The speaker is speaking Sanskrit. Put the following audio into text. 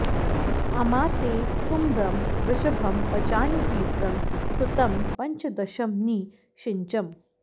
अमा ते तुम्रं वृषभं पचानि तीव्रं सुतं पञ्चदशं नि षिञ्चम्